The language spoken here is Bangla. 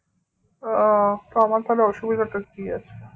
আহ তা আমার তাহলে অসুবিধা টা কি আছে